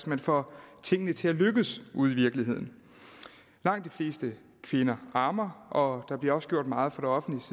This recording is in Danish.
man får tingene til at lykkes ude i virkeligheden langt de fleste kvinder ammer og der bliver også gjort meget fra det offentliges